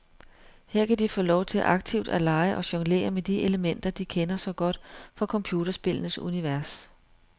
Her kan de få lov til aktivt at lege og jonglere med de elementer, de kender så godt fra computerspillenes univers.